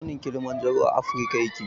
Tsaunin kilimanjaro a afirka yake.